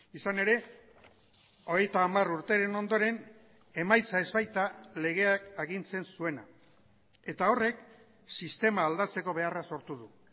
izan ere hogeita hamar urteren ondoren emaitza ez baita legeak agintzen zuena eta horrek sistema aldatzeko beharra sortu du